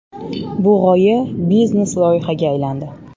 Bu g‘oya biznes-loyihaga aylandi”.